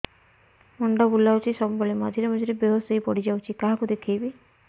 ମୁଣ୍ଡ ବୁଲାଉଛି ସବୁବେଳେ ମଝିରେ ମଝିରେ ବେହୋସ ହେଇ ପଡିଯାଉଛି କାହାକୁ ଦେଖେଇବି